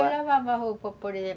É, eu lavava a roupa, por exemplo.